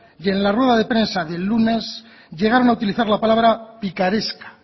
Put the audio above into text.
y en la rueda de prensa del lunes llegaron a utilizar la palabra picaresca